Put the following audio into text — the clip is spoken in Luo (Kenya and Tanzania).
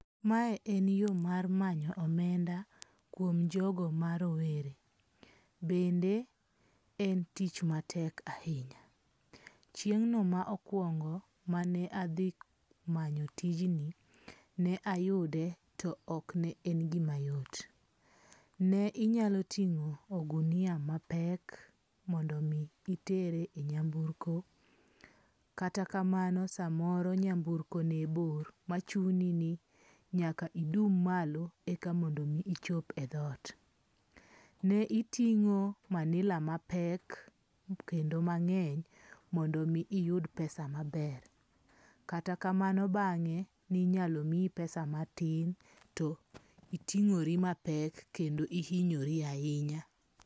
Mae en yo mar manyo omenda kuom jogo ma rowere. Bende en tich matek ahinya. Chieng'no mokuongo mane adhi manyo tijni, ne ayude to ok ne en gima yot. Ne inyalo ting'o ogunia mapek mondo mi itere e nyamburko. Kata kamano samoro nyamburko ne bor machuni ni nyaka idum malo eka mondo mi ichop e dhot. Ne iting'o manila mapek kendo mang'eny mondo mi iyud pesa maber. Kata kamano bang'e ne inyalo miyi pesa matin to iting'ori mapek kendo ihinyori ahinya.